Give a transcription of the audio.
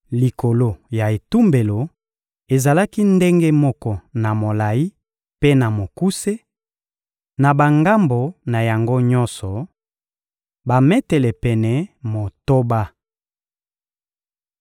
Likolo ya etumbelo ezalaki ndenge moko na molayi mpe na mokuse, na bangambo na yango nyonso: bametele pene motoba.